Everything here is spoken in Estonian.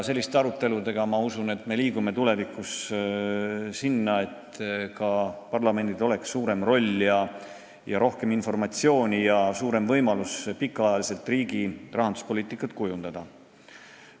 Selliste arutelude abil, ma usun, me liigume sinnapoole, et tulevikus oleks ka parlamendil suurem roll ja rohkem informatsiooni ning suurem võimalus pikaajaliselt riigi rahanduspoliitikat kujundada.